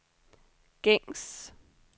gængs